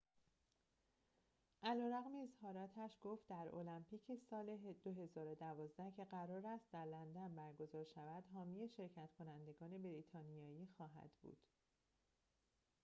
علی‌رغم اظهاراتش گفت در المپیک سال ۲۰۱۲ که قرار است در لندن برگزار شود حامی شرکت‌کنندگان بریتانیایی خواهد بود